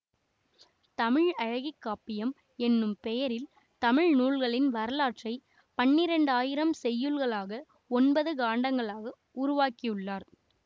தமிழழகி காப்பியம் என்னும் பெயரில் தமிழ்நூல்களின் வரலாற்றை பன்னிரண்டாயிரம் செய்யுள்களாக ஒன்பது காண்டங்களாக உருவாக்கியுள்ளார்